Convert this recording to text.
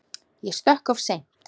Ég stökk of seint.